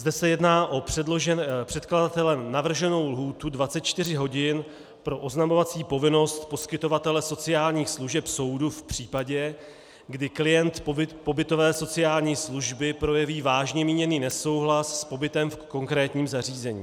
Zde se jedná o předkladatelem navrženou lhůtu 24 hodin pro oznamovací povinnost poskytovatele sociálních služeb soudu v případě, kdy klient pobytové sociální služby projeví vážně míněný nesouhlas s pobytem v konkrétním zařízení.